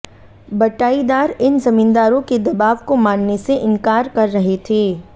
बटाईदार इन जमींदारों के दबाव को मानने से इन्कार कर रहे थे